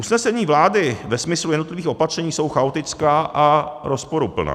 Usnesení vlády ve smyslu jednotlivých opatření jsou chaotická a rozporuplná.